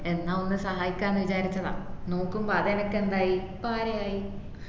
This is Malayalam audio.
എന്ന ഒന്ന് സഹായിക്ന്നുക്കാന്ന് വിചാരിച്ചതാ നോക്കുമ്പോ അതേനക്ക് എന്തായി പാരയായി